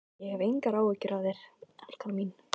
Ég mundi nú bara hlaupa í burtu.